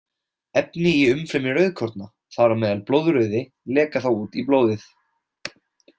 Efni í umfrymi rauðkorna, þar á meðal blóðrauði, leka þá út í blóðið.